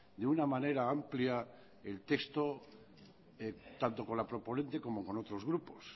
de una manera amplia el texto tanto con la proponente como con otros grupos